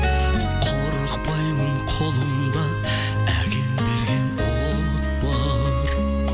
қорықпаймын қолымда әкем берген от бар